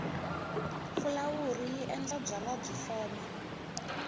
fulawuri yi endla byalwa byi foma